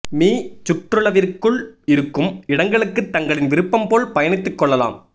me சுற்றளவிற்குள் இருக்கும் இடங்களுக்கு தங்களின் விருப்பம் போல் பயணித்துக் கொள்ளலாம்